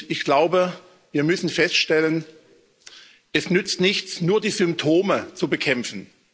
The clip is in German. Ich glaube, wir müssen feststellen Es nützt nichts, nur die Symptome zu bekämpfen.